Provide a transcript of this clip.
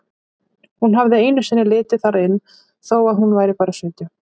Hún hafði einu sinni litið þar inn þó að hún væri bara sautján.